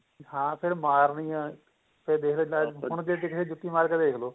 ਹਾਂ ਫਿਰ ਮਾਰਨੀਆਂ ਫੇਰ ਦੇ ਦੇਂਦਾ ਹੁਣ ਜੇ ਕਿਸੇ ਦੇ ਜੁਤੀ ਮਾਰ ਕੇ ਦੇਖ ਲੋ